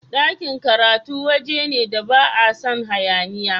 Dakin karatu wajene da ba a san hayaniya.